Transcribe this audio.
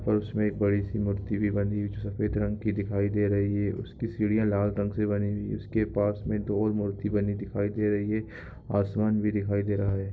और उसमे एक बड़ी सी मूर्ति भी बनी हुई जो सफेद रंग की दिखाई दे रही है उसकी सीढ़ियाँ लाल रंग से बनी हुई है उसके पास मे दो और मूर्ति बनी दिखाई दे रही है आसमान भी दिखाई दे रहा है।